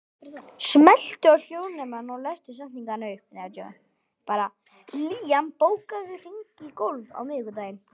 Liam, bókaðu hring í golf á miðvikudaginn.